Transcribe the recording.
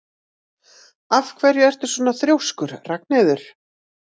Af hverju ertu svona þrjóskur, Ragnheiður?